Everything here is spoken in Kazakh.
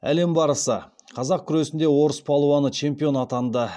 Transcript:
әлем барысы қазақ күресінде орыс палуаны чемпион атанды